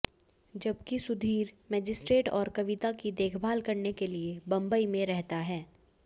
जबकि सुधीर मजिस्ट्रेट और कविता की देखभाल करने के लिए बंबई में रहता है